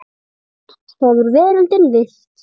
Margan hefur veröldin villt.